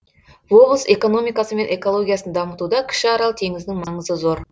облыс экономикасы мен экологиясын дамытуда кіші арал теңізінің маңызы зор